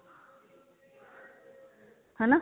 ਹਨਾ